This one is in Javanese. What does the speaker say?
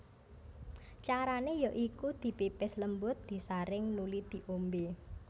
Carane ya iku dipipis lembut disaring nuli di ombe